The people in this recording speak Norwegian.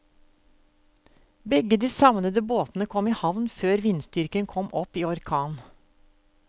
Begge de savnede båtene kom i havn før vindstyrken kom opp i orkan.